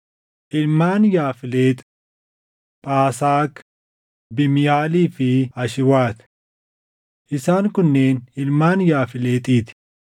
Ilmaan Yaafleex: Phaasaak, Biimihaalii fi Ashwaati. Isaan kunneen ilmaan Yaafleexii ti.